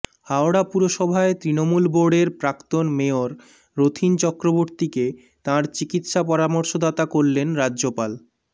হাওড়া পুরসভায় তৃণমূল বোর্ডের প্রাক্তন মেয়র রথীন চক্রবর্তীকে তাঁর চিকিৎসা পরামর্শদাতা করলেন রাজ্যপাল